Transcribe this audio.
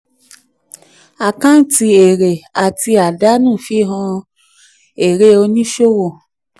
àkáǹtì èrè àti àdánù fihan èrè oníṣòwò.